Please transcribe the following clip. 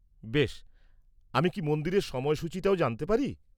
বেশ! আমি কি মন্দিরের সময়সূচিটাও জানতে পারি?